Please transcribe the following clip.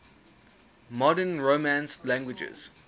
modern romance languages